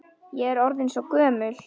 Ég er orðin svo gömul.